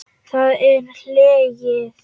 Það er hlegið.